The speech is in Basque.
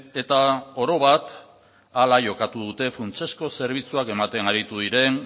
eta orobat hala jokatu dute funtsezko zerbitzuak ematen aritu diren